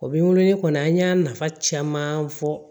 O bɛ n wele kɔni an y'a nafa caman fɔ